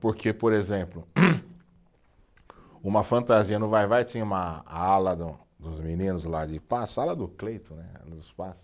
Porque, por exemplo, uma fantasia no Vai-Vai tinha uma, a ala do dos meninos lá de, sala do né,